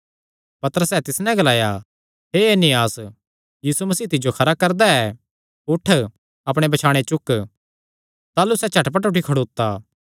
पतरसैं तिस नैं ग्लाया हे एनियास यीशु मसीह तिज्जो खरा करदा ऐ उठ अपणे बछाणे चुक ताह़लू सैह़ झट उठी खड़ोता